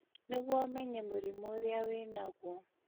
nĩguo ũmenye mũrimũ ũrĩa wĩnaguo